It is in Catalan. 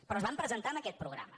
però es van presentar amb aquest programa